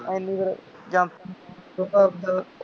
ਹੈ ਨਹੀ ਫੇਰ ਫੇਰ